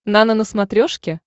нано на смотрешке